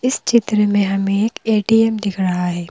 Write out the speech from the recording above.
इस चित्र में हमें एक ए_टी_एम दिख रहा है।